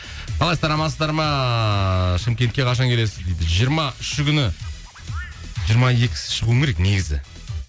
қалайсыздар амансыздар ма шымкентке қашан келесіз дейді жиырма үші күні жиырма екісі шығуым керек негізі